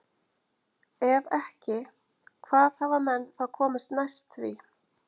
Ef ekki, hvað hafa menn þá komist næst því?